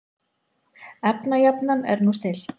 Efnajafnan er nú stillt.